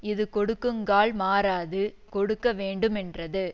இது கொடுக்குங்கால் மாறாது கொடுக்க வேண்டுமென்றது